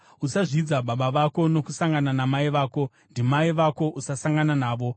“ ‘Usazvidza baba vako nokusangana namai vako. Ndimai vako usasangana navo.